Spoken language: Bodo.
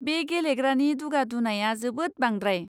बे गेलेग्रानि दुगा दुनाया जोबोद बांद्रांय!